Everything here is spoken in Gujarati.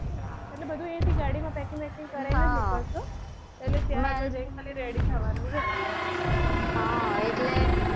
એટલે બધુ અહિયાં થી ગાડી માં packing બેકિંગ કરીને જ મૂકીશું એટલે ત્યાં ખાલી ready થવાનું રે હા એટલે,